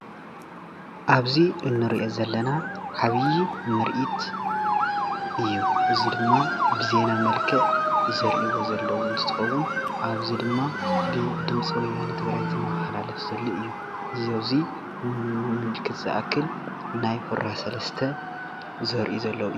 ኣብዚ እንሪኦ ዘለና ዓብይ ምርኢት እዩ፡እዚ ድማ ብዜና መልክዕ ዘርእይዎ ዘለዉ እንትትከውን ኣብዚ ድማ ብድመፂ ወያነ ትግራይ ዝመሓላለፍ ዘሎ እዩ፡፡ እዚ ኣብዙይ ኣብ እዚ ንምልክተ ዝኣክል ናይ ሁራ ሰለስተ ዘርእዩ ዘለው እዩ፡፡